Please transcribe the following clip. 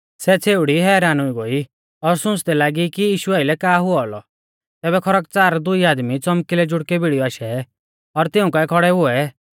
सै छ़ेउड़ी हैरान हुई गोई और सुंच़दै लागी कि यीशु आइलै का हुऔ औलौ तैबै खरकच़ार दुई आदमी च़ौमकिलै जुड़कै भिड़ीयौ आशै और तिऊं काऐ खौड़ै हुऐ